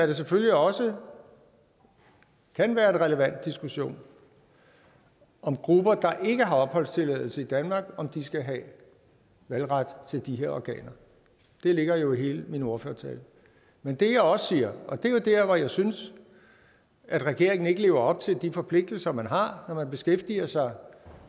det selvfølgelig også være en relevant diskussion om grupper der ikke har opholdstilladelse i danmark skal have valgret til de her organer det ligger jo i hele min ordførertale men det jeg også siger og det er jo der hvor jeg synes at regeringen ikke lever op til de forpligtelser man har når man beskæftiger sig